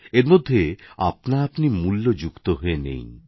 এর মধ্যে আপনাআপনি মূল্য যুক্ত হয়ে নেই